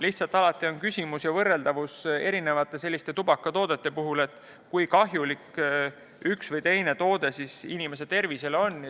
Lihtsalt alati on küsimus erinevate tubakatoodete võrdluses, kui kahjulik üks või teine toode inimese tervisele on.